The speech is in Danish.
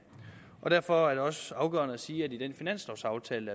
og derfor er det også afgørende at sige at i den finanslovaftale